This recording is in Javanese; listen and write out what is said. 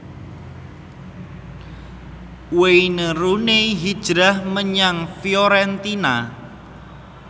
Wayne Rooney hijrah menyang Fiorentina